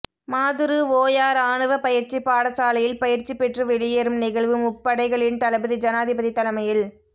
மாதுறு ஓயா இராணுவ பயிற்சிப் பாடசாலையில் பயிற்சி பெற்று வெளியேறும் நிகழ்வு முப்படைகளின் தளபதி ஜனாதிபதி தலைமையில்